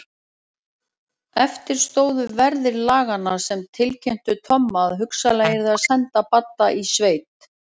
Eftir stóðu verðir laganna sem tilkynntu Tomma að hugsanlega yrði að senda Badda í sveit.